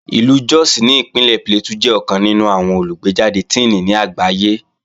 Ìlú Jos ní Ìpínlẹ̀ Plateau jẹ́ ọ̀kan nínú àwọn olùgbéjàde Tíìnì ní àgbáyé